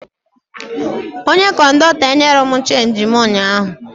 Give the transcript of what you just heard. Onye kọndọktọ enyerọ m chenji mụ ụnyaahụ